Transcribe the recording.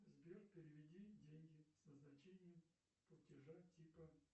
сбер переведи деньги с назначением платежа типа